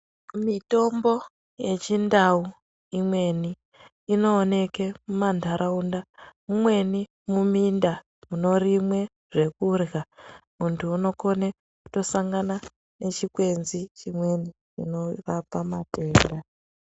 Mitombo yechindauimweni inooneke mumantaraunda imweni muminda munorimwe zvekurya muntu unokone kutosangana nechikwenzi chimweni chinorapa matenda.